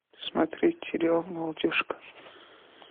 смотреть сериал молодежка